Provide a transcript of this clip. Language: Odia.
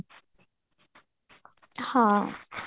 ହଁ